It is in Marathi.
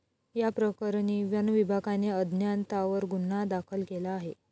याप्रकरणी वनविभागाने अज्ञातांवर गुन्हा दाखल केला आहे.